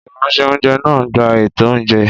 Ìránṣẹ́-oúnjẹ náà gba ètò oúnjẹ